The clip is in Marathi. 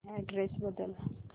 अॅड्रेस बदल